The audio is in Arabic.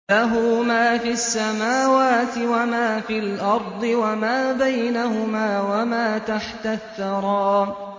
لَهُ مَا فِي السَّمَاوَاتِ وَمَا فِي الْأَرْضِ وَمَا بَيْنَهُمَا وَمَا تَحْتَ الثَّرَىٰ